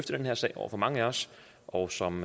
den her sag over for mange af os og som